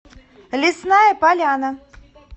лесная поляна